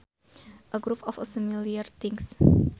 A group of similar things